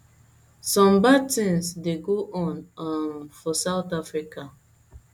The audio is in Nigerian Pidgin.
some bad tings dey go on um for south africa